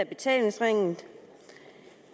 betalingsringen